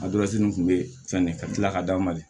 nin kun bɛ fɛn ne ka tila ka d'a ma de